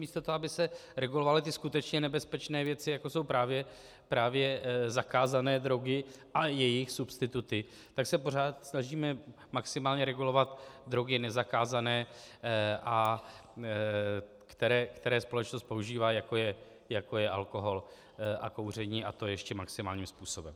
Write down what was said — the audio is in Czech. Místo toho, aby se regulovaly ty skutečně nebezpečné věci, jako jsou právě zakázané drogy a jejich substituty, tak se pořád snažíme maximálně regulovat drogy nezakázané, které společnost používá, jako je alkohol a kouření, a to ještě maximálním způsobem.